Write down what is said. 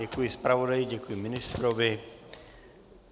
Děkuji zpravodaji, děkuji ministrovi.